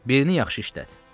Birini yaxşı işlət.